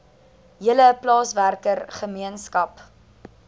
hele plaaswerker gemeenskap